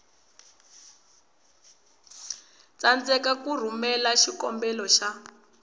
tsandzeka ku rhumela xikombelo xa